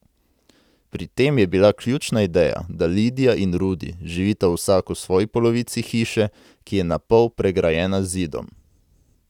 Pri tem je bila ključna ideja, da Lidija in Rudi živita vsak v svoji polovici hiše, ki je na pol pregrajena z zidom.